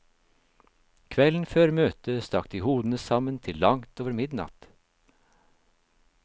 Kvelden før møtet stakk de hodene sammen til langt over midnatt.